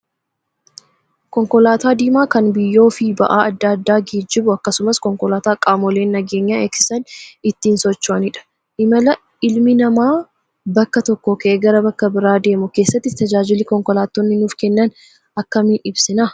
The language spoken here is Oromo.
Konkolaataa diimaa kan biyyoo fi ba'aa adda addaa geejjibu akkasumas konkolaataa qaamoleen nageenya eegsisan ittiin socho'anidha. Imala ilmi namaa bakka tokkoo ka'ee gara bakka biraa deemu keessatti tajaajilli konkolaattonni nuuf kennan akkamiin ibsina?